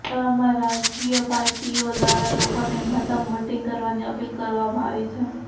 તેવામાં રાજકીય પાર્ટીઓ દ્વારા લોકોને મહત્તમ વોટિંગ કરવાની અપીલ કરવામાં આવી છે